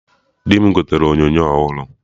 Di m gotere onyonyo ọhụrụ